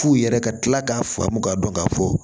F'u yɛrɛ ka kila k'a faamu k'a dɔn k'a fɔ